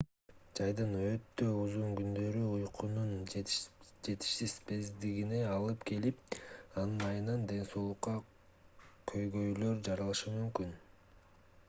жайдын өтө узун күндөрү уйкунун жетишсиздигине алып келип анын айынан ден соолукта көйгөйлөр жаралышы мүмкүн